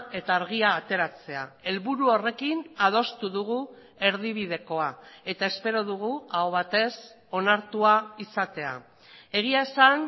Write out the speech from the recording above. eta argia ateratzea helburu horrekin adostu dugu erdibidekoa eta espero dugu aho batez onartua izatea egia esan